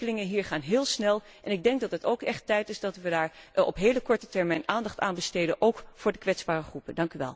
De ontwikkelingen hier gaan heel snel en ik denk dat het ook echt tijd is dat we daar op hele korte termijn aandacht aan besteden, ook voor de kwetsbare groepen.